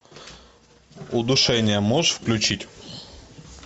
удушение можешь включить